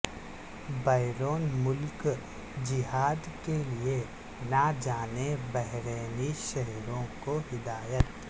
بیرون ملک جہاد کے لیے نہ جانے بحرینی شہریوں کو ہدایت